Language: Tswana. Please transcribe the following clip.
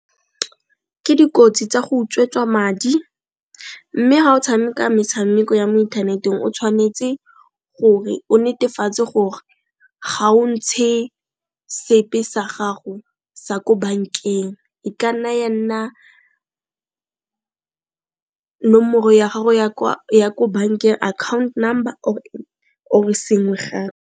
Ke dikotsi tsa go utswetswa madi, mme ga o tshameka metshameko ya mo inthaneteng o tshwanetse gore o netefatse gore ga o ntshe sepe sa gago sa ko bankeng, e ka nna ya nna nomoro ya gago ya ko account number or sengwe .